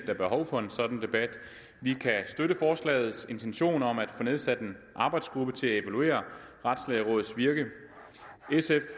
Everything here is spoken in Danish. er behov for en sådan debat og vi kan støtte forslagets intention om at få nedsat en arbejdsgruppe til at evaluere retslægerådets virke sf